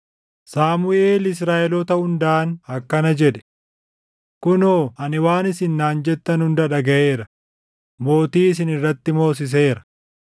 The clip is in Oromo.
Saamuʼeel Israaʼeloota hundaan akkana jedhe; “Kunoo ani waan isin naan jettan hunda dhagaʼeera; mootii isin irratti moosiseera.